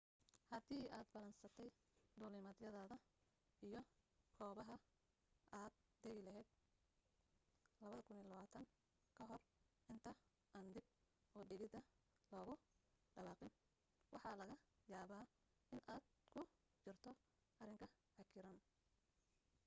hadii aad ballansatay duulimadyadaada iyo goobaha aad dagi lahayd 2020 kahor inta aan dib udhigida lagu dhawaaqin waxaa laga yaaba in aad ku jirto arrin cakiran